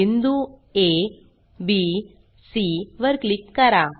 बिंदू आ B C वर क्लिक करा